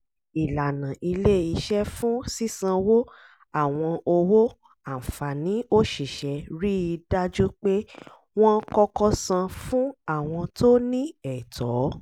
ìlànà ilé-iṣẹ́ fún sísanwó àwọn owó àǹfààní òṣìṣẹ́ rí i dájú pé wọ́n kọ́kọ́ san fún àwọn tó ní ẹ̀tọ́